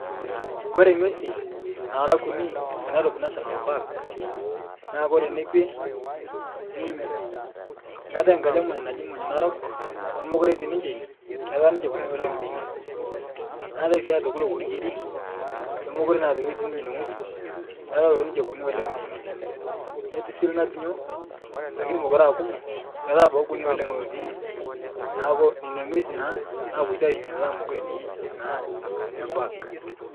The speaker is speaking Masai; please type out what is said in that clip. Kore ng'wesi nara kuni te Nairobi National Park naa kore nekwe munyo keatae nkaji emuny naji muny narok nemokure etii ninche ine ketaa ninche kuni oleng' teine, neatae sii aitoki loworu keri lemokure naa toki etii ninye ine ng'oji ketaa atoki ninche kuni oleng' teine, netii lng'atunyo lakini mokure aa kumo ketaa abaki kuni oleng' lotii ine neaku nena ng'wesi naa napoito aishunye petaa mokure etii naa inia park.